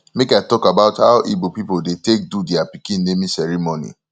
make i tok about how igbo pipol dey take do dia pikin naming ceremony